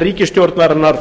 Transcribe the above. ríkisstjórnarinnar